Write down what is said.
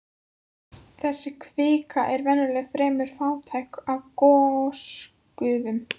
Þessi kvika er venjulega fremur fátæk af gosgufum.